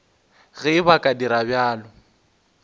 ge ba ka dira bjalo